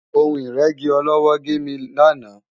Ohun ìrẹ́gi ọlọ́wọ́ gé mi lánàá